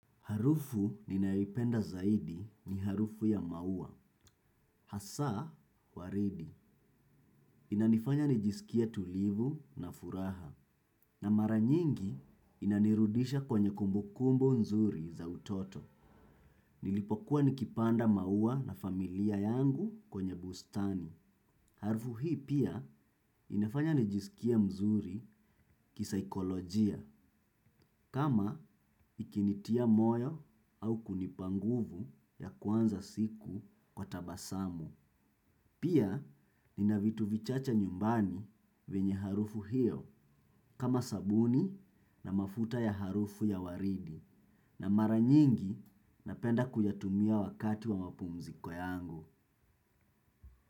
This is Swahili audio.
Harufu ninayoipenda zaidi ni harufu ya maua. Hasaa, waridi. Inanifanya nijisikie tulivu na furaha. Na maranyingi inanirudisha kwenye kumbukumbu nzuri za utoto. Nilipokuwa nikipanda maua na familia yangu kwenye bustani. Harufu hii pia inafanya nijisikie mzuri kisaikolojia. Kama ikinitia moyo au kunipanguvu ya kwanza siku kwa tabasamu. Pia ninavitu vichache nyumbani venye harufu hiyo kama sabuni na mafuta ya harufu ya waridi na maranyingi napenda kuyatumia wakati wa mapumziko yangu.